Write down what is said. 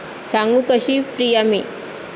सांगू कशी प्रिया मी